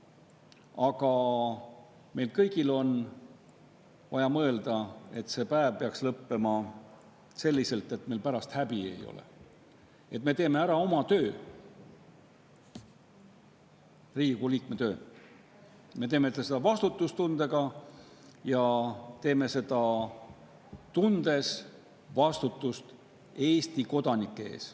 Aga meil kõigil on vaja mõelda, et see päev peaks lõppema selliselt, et meil ei oleks pärast häbi, et me teeksime ära oma töö, Riigikogu liikme töö, teeksime seda vastutustundega ja teeksime seda, tundes vastutust Eesti kodanike ees.